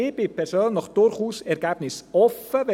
Ich bin persönlich durchaus ergebnisoffen.